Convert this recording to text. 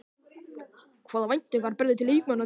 Hvaða væntingar berðu til leikmanna þinna í sumar?